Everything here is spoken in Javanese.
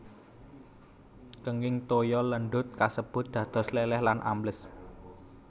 Kenging toya lendhut kasebut dados lèlèh lan ambles